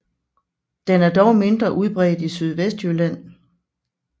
Den er dog mindre udbredt i Sydvestjylland